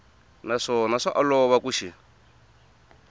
naswona swa olova ku xi